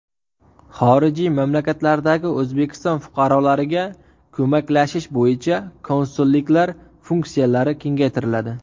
Xorijiy mamlakatlardagi O‘zbekiston fuqarolariga ko‘maklashish bo‘yicha konsulliklar funksiyalari kengaytiriladi.